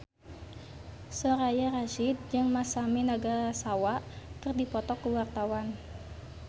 Soraya Rasyid jeung Masami Nagasawa keur dipoto ku wartawan